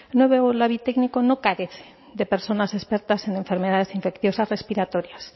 no veo el labi técnico no carece de personas expertas en enfermedades infecciosas respiratorias